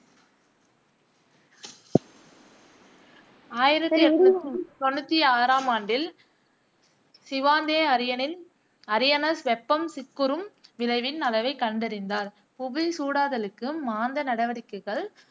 ஆயிரத்தி எண்ணூத்தி தொண்ணூத்தி ஆறாம் ஆண்டில் சிவாந்தே அரியனில் அரினியஸ் வெப்பம் சிக்குறும் விளைவின் அளவைக் கண்டறிந்தார். புவிசூடாதலுக்கு மாந்த நடவடிக்க்கைகள்